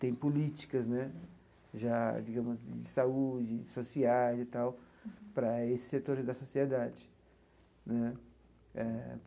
Tem políticas né já, digamos, de saúde, de sociais e tal para esses setores da sociedade né eh.